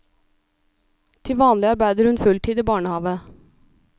Til vanlig arbeider hun full tid i barnehave.